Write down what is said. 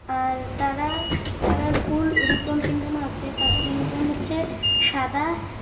আর তারা-তারার ফুল ইউনিফর্ম আছে তাদের ইউনিফর্ম হচ্ছে সাদা।